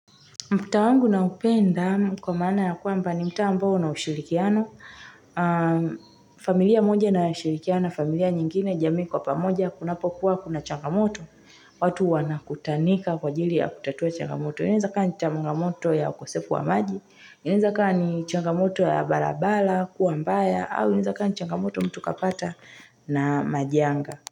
Mtaa wangu naupenda kwa maana ya kwmba ni mtaa ambao una ushirikiano, familia moja ina ushirikiano, familia nyingine, jamii kwa pamoja, kunapokuwa kuna changamoto, watu wanakutanika kwa ajili ya kutatua changamoto. Inaeza kua ni changamoto ya okosefu wa maji, inaeza kua ni changamoto ya barabara kuwa mbaya, au inaeza kua ni changamoto mtu kapata na majanga.